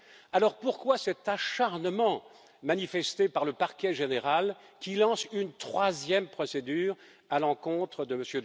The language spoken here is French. Alors, pourquoi cet acharnement manifesté par le parquet général, qui lance une troisième procédure à l'encontre de M.